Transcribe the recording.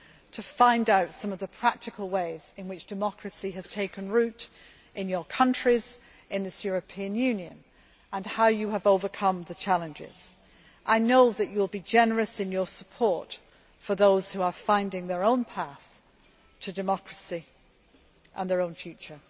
they can. In this way, they can find out some of the practical ways in which democracy has taken root in your countries and in this European Union, and how you have overcome the challenges. I know that you will be generous in your support for those who are finding their own path to democracy and their own